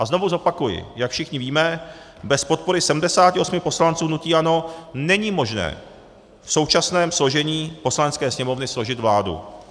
A znovu zopakuji, jak všichni víme, bez podpory 78 poslanců hnutí ANO není možné v současném složení Poslanecké sněmovny složit vládu.